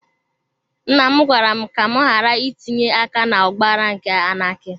Nnam gwara m ka m ghàrà itinye aka na ọgbaghara nke anaki